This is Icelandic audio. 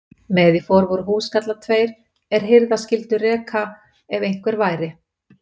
Með í för voru húskarlar tveir, er hirða skyldu reka ef einhver væri.